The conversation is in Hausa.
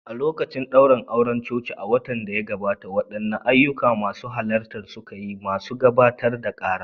A lokacin daurin auren coci a watan da ya gabata, waɗanne ayyuka masu halarta suka yi, masu gabatar da kara?